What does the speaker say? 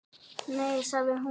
Nei sagði hún.